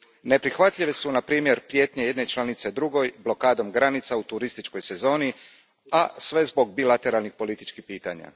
Neprihvatljive su, na primjer, prijetnje jedne članice drugoj blokadom granica u turističkoj sezoni, a sve zbog bilateralnih političkih pitanja.